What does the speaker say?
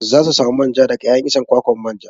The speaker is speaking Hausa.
Za su samu manja daga 'ya'yan icen kwakwan manja.